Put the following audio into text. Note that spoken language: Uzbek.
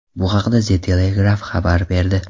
Bu haqda The Telegraph xabar berdi.